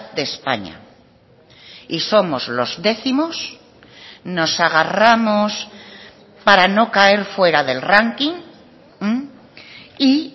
de españa y somos los décimos nos agarramos para no caer fuera del ranking y